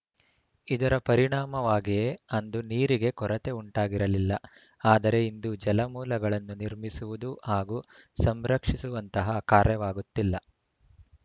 ಇದರ ಪರಿಣಾಮವಾಗಿಯೇ ಅಂದು ನೀರಿಗೆ ಕೊರತೆ ಉಂಟಾಗಿರಲಿಲ್ಲ ಆದರೆ ಇಂದು ಜಲಮೂಲಗಳನ್ನು ನಿರ್ಮಿಸುವುದು ಹಾಗೂ ಸಂರಕ್ಷಿಸುವಂತಹ ಕಾರ್ಯವಾಗುತ್ತಿಲ್ಲ